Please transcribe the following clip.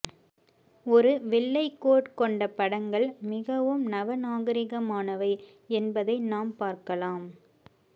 ஒரு வெள்ளை கோட் கொண்ட படங்கள் மிகவும் நவநாகரீகமானவை என்பதை நாம் பார்க்கலாம்